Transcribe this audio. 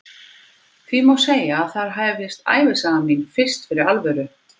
Því má segja að þar hefjist ævisaga mín fyrst fyrir alvöru.